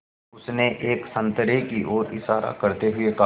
उसने एक संतरे की ओर इशारा करते हुए कहा